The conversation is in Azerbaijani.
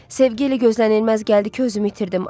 Sevgi elə gözlənilməz gəldi ki, özümü itirdim.